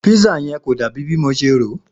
Pisa yẹ kó dà bi mo se ro